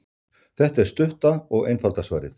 Þetta er stutta og einfalda svarið.